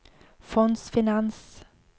fondsfinans